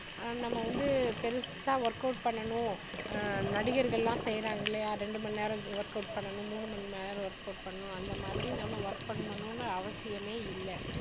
அஹ் நம்ம வந்து பெருசா work out பண்ணணும் ஆஹ் நடிகர்கள் எல்லாம் செய்றாங்க இல்லையா ரெண்டு மணி நேரம் work out பண்ணணும் மூணு நேரம் work out பண்ணணும் அந்த மாதிரி நம்ம work பண்ணணும்னு அவசியமே இல்ல